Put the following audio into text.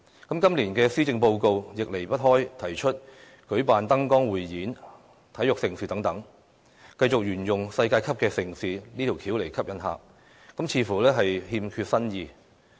今年的施政報告，亦仍然提出舉辦燈光匯演、體育盛事等，繼續沿用舉辦世界級盛事的手法來吸引旅客，似乎欠缺新意。